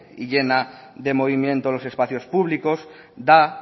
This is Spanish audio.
y llena de movimiento en los espacios públicos da